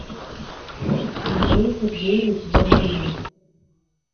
андрей сергеевич добрынин